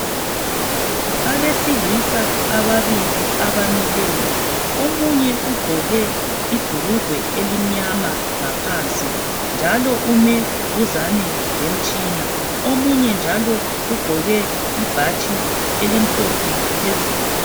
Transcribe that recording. Abesilisa ababili abamileyo. Omunye ugqoke ibhurugwe elimnyama ngaphansi njalo ume duzane lemtshina. Omunye njalo ugqoke ibhatshi elimhlophe phezulu.